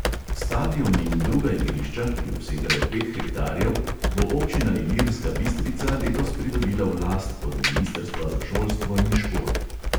Stadion in druga igrišča, ki obsegajo pet hektarjev, bo občina ilirska bistrica letos pridobila v last od ministrstva za šolstvo in šport.